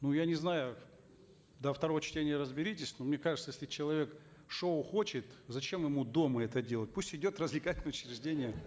ну я не знаю до второго чтения разберитесь но мне кажется если человек шоу хочет зачем ему дома это делать пусть идет в развлекательные учреждения